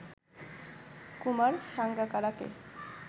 Kumar সাঙ্গাকারাকে